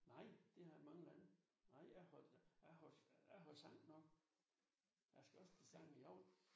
Nej det har jeg mange gange. Nej jeg har jeg har holdt jeg har holdt sang oppe. Jeg skal også til sang i aften